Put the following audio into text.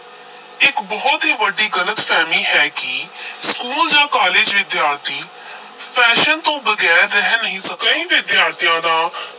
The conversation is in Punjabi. ਇਕ ਬਹੁਤ ਹੀ ਵੱਡੀ ਗਲਤ-ਫ਼ਹਿਮੀ ਹੈ ਕਿ school ਜਾਂ college ਵਿਦਿਆਰਥੀ fashion ਤੋਂ ਬਗੈਰ ਰਹਿ ਨਹੀਂ ਸਕਦਾ, ਕਈ ਵਿਦਿਆਰਥੀਆਂ ਤਾਂ